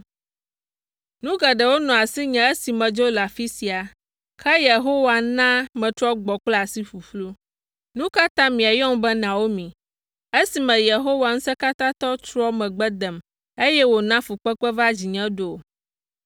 Nu geɖewo nɔ asinye esi medzo le afi sia, ke Yehowa na metrɔ gbɔ kple asi ƒuƒlu. Nu ka ta miayɔm be Naomi esime Yehowa Ŋusẽkatãtɔ trɔ megbe dem, eye wòna fukpekpe va dzinye ɖo?”